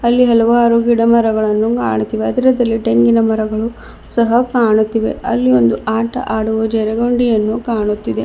ಅಲ್ಲಿ ಹಲವಾರು ಗಿಡ ಮರಗಳನ್ನು ಕಾಣುತ್ತಿವೆ ಅದರದಲ್ಲಿ ತೆಂಗಿನ ಮರಗಳು ಸಹ ಕಾಣುತ್ತಿವೆ ಅಲ್ಲಿ ಒಂದು ಆಟ ಆಡುವ ಜರಗುಂಡಿ ಅನ್ನು ಕಾಣುತ್ತಿದೆ.